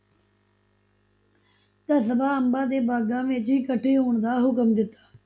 ਕਸਬਾ, ਅੰਬਾਂ ਦੇ ਬਾਗਾਂ ਵਿੱਚ ਇਕੱਠੇ ਹੋਣ ਦਾ ਹੁਕਮ ਦਿਤਾ।